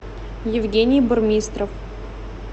евгений бурмистров